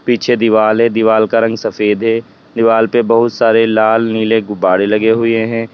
पीछे दिवाल हैं दीवाल का रंग सफेद है दीवार पर बहुत सारे लाल नीले गुब्बारे लगे हुए हैं।